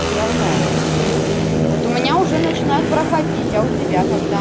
всё равно вот у меня уже начинает проходить а у тебя когда